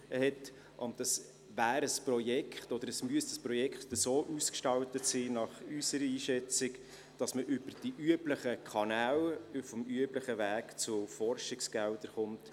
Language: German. Nach unserer Einschätzung müsste das Projekt so ausgestaltet sein, dass man über die üblichen Kanäle, auf dem üblichen Weg zu Forschungsgeldern kommt.